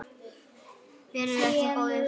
Vertu ekki góður.